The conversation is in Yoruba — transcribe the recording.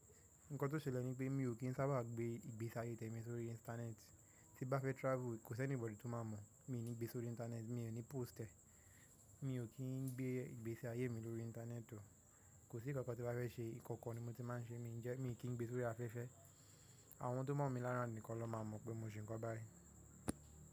Nǹkan tó ṣẹlẹ̀ ni pé mi ò kí ń sábà gbé ìgbésí ayé tẹmi sórí intànẹ́ẹtí. Tí n bá fẹ́ tirafu, kò sí ẹnikeni tó máa mọ̀. Mi ò ní gbé sórí intànẹ́ẹtí, mi ò ní posti rẹ̀. Mi ò kí ń gbé ìgbésí ayé mi lórí intànẹ́ẹtí o. Kò sí ìkankan tí n bá fẹ́ ṣe, ikọkọ ni mo ti máa ń ṣé. Mi ò kí ń gbé sórí afẹ́fẹ́. Àwọn tó mọ̀ mi l'ayikà nìkan ló máa mọ̀ pé mo n ṣe ǹkan báyìí.